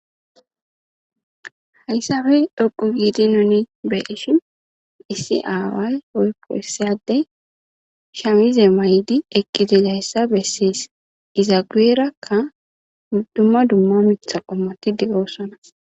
Hayssappe dhoqqu giidi nu be'ishin woykko nu xeellishin issi addezi shaamize mayidi eqqi dizayssa besses. Iza guyerakka dumma dumma miththa qommoti de'osona.